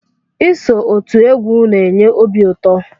Iso otú égwu n'enye obi ụtọ.